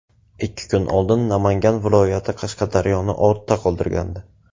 Ikki kun oldin Namangan viloyati Qashqadaryoni ortda qoldirgandi.